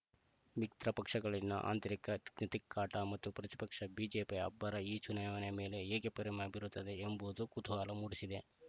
ಮಿತ್ರ ಪಕ್ಷಗಳಲ್ಲಿನ ಅಂತ್ರಿಕ ತಿಕ್ಕಾಟ ಮತ್ತು ಪ್ರತಿಪಕ್ಷ ಬಿಜೆಪಿಯ ಅಬ್ಬರ ಈ ಚುನಾವಣೆಯ ಮೇಲೆ ಹೇಗೆ ಪರಿಮ ಬೀರುತ್ತದೆ ಎಂಬುವುದು ಕುತೂಹಲ ಮೂಡಿಸಿದೆ